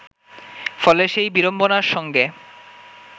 ফলে সেই বিড়ম্বনার সঙ্গে